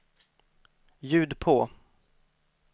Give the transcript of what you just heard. ljud på